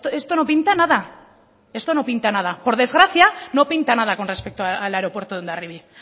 esto no pinta nada esto no pinta nada por desgracia no pinta nada con respecto al aeropuerto de hondarribia